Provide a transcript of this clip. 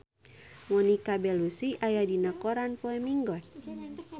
Monica Belluci aya dina koran poe Minggon